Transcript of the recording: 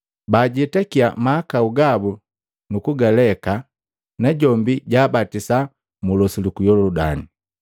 Bajetakiya mahakau gabu nukugaleka, najombi jaabatisa mu losi luku Yoludani.